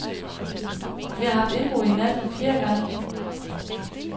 Vi har haft indbrud i nat for fjerde gang.